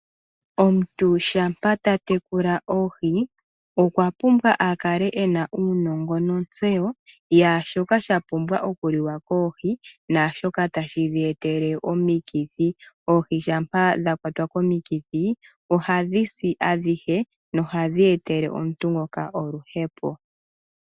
Omuntu shampa ta tekula oohi okwa pumbwa a kale ena uunongo nontseyo yaashoka sha pumbwa oku li wa koohi naashoka tashi dheetele omikithi. Oohi shampa dha kwatwa komithi ohadhi si adhike nohadhi etele omuntu ngoka oluhepo.